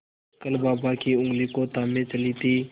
कल बाबा की ऊँगली को थामे चली थी